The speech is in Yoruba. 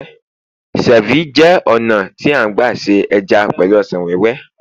cervi jé ònà ti a n gba se eja pẹlu ọsàn wéwé